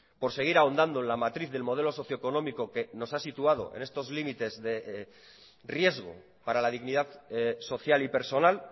por seguir ahondando en la matriz del modelo socioeconómico que nos ha situado en estos límites de riesgo para la dignidad social y personal